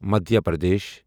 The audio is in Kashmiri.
مدھیا پردیش